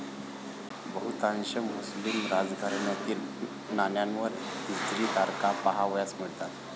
बहुतांश मुस्लिम राजघराण्यातील नाण्यांवर हिजरी तारखा पाहावयास मिळतात.